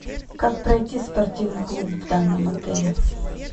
как пройти в спортивный клуб в данном отеле